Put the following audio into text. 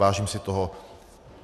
Vážím si toho.